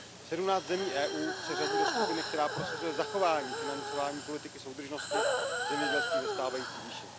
17 zemí EU se řadí do skupiny, která prosazuje zachování financování politiky soudržnosti a zemědělství ve stávající výši.